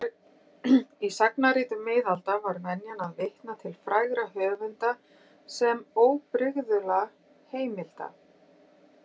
Í sagnaritum miðalda var venjan að vitna til frægra höfunda sem óbrigðulla heimilda.